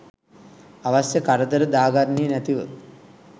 අවශ්‍ය කරදර දාගන්නේ නැතිව